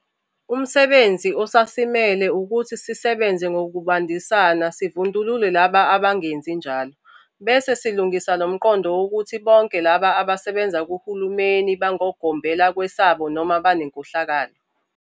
Umsebenzi osasimele ukuthi sisebenze ngokubambisana sivundulule labo abangenzi njalo, bese silungisa lo mqondo wokuthi bonke labo abasebenza kuhulumeni bangogombela kwesabo noma banenkohlakalo.